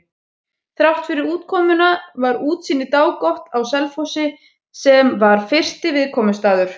Þráttfyrir úrkomuna var útsýni dágott á Selfossi, sem var fyrsti viðkomustaður.